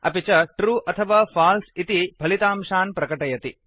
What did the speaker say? अपि च ट्रू अथवा फल्से इति फलितांशान् प्रकटयति